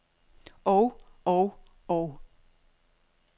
og og og